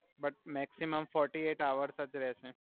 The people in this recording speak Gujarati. but maximum forty eight hours જ રેહસે